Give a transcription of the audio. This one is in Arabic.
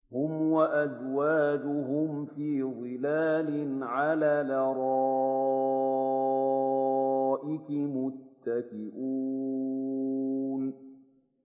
هُمْ وَأَزْوَاجُهُمْ فِي ظِلَالٍ عَلَى الْأَرَائِكِ مُتَّكِئُونَ